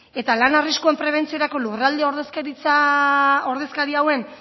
eta lan arriskuen prebentziorako lurralde ordezkari hauen